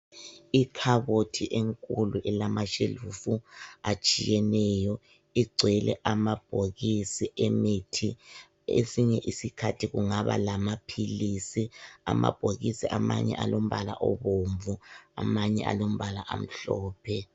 Ikhabothi enkulu ilama shelufu atshiyeneyo igcwele amabhokisi emithi. Esinye isikhathi kungaba lamaphilisi. Amabhokisi amanye alombala obomvu amanye alombala omhlophe.